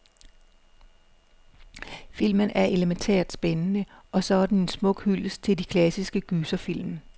Filmen er elemæntært spændende, og så er den en smuk hyldest til de klassiske gyserfilm.